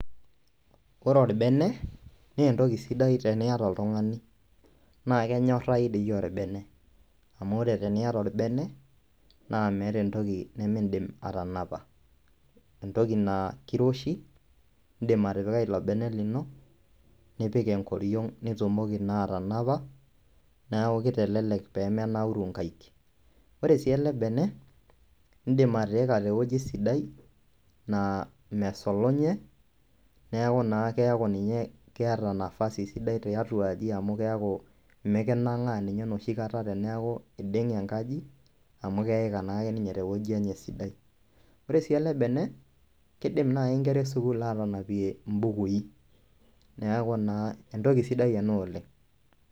Ore orbene naa entoki sidai teniata oltung'ani naa kenyorayu doi orbene amu ore teniata orbene naa meeta entoki nemindim atanapa entoki naa keiroshi indiim atipika ilo bene lino nipik enkoriang nitumoki naa atanapa neeku keitelelek peemenauru inkaeik ore sii ele bene indiil atiika tewueji sidai naa mesulunye neeeku naa keeta nafasi sidai tiatuaji amu keeku imikinang'aa ninye enoshikata teneeku eiding'e enkaji amu keika naake ninye tewueji enye sidai ore sii ele bene keidim naaji inkera e school aatanapie imbukui neeku naa entoki sidai ena oleng.